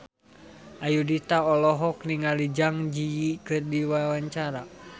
Ayudhita olohok ningali Zang Zi Yi keur diwawancara